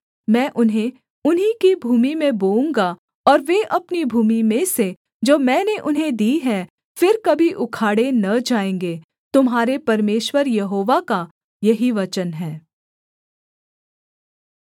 मैं उन्हें उन्हीं की भूमि में बोऊँगा और वे अपनी भूमि में से जो मैंने उन्हें दी है फिर कभी उखाड़े न जाएँगे तुम्हारे परमेश्वर यहोवा का यही वचन है